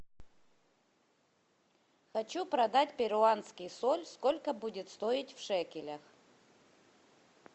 хочу продать перуанский соль сколько будет стоить в шекелях